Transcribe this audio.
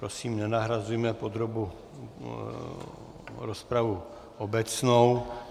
Prosím, nenahrazujme podrobnou rozpravu obecnou.